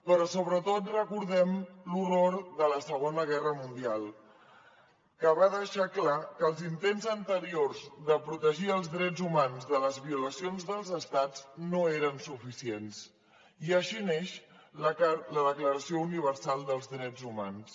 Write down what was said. però sobretot recordem l’horror de la segona guerra mundial que va deixar clar que els intents anteriors de protegir els drets humans de les violacions dels estats no eren suficients i així neix la declaració universal dels drets humans